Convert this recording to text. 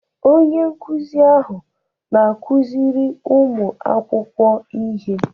Onye nkuzi ahụ na-akụziri ụmụ akwụkwọ ihe.